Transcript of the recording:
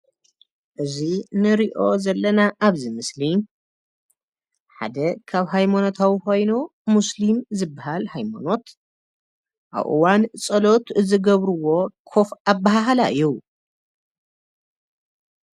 እዚ ንሪኦ ዘለና አብዚ ምስሊ ሓደ ካብ ሃይማኖታዊ ኮይኑ ሙስሊም ዝበሃል ሃይማኖት አብ እዋን ፀሎት ዝገብርዎ ኮፍ አበሃህላ እዩ።